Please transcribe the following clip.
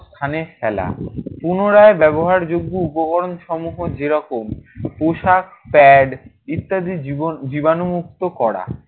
স্থানে ফেলা। পুনরায় ব্যবহারযোগ্য উপকরণসমূহ যেরকম পোশাক, pad ইত্যাদি জীব~ জীবাণুমুক্ত করা।